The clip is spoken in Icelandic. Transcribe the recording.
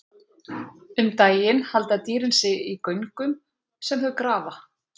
Um daginn halda dýrin sig í göngum sem þau grafa.